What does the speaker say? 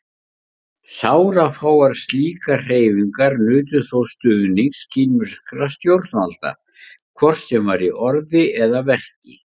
Sárafáar slíkar hreyfingar nutu þó stuðnings kínverskra stjórnvalda, hvort sem var í orði eða verki.